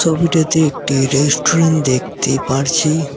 ছবিটাতে একটি রেস্টুরেন্টে দেখতে পারছি।